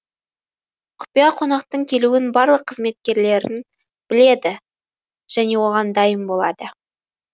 құпия қонақтың келуін барлық қызметкерлерін біледі және оған дайын болады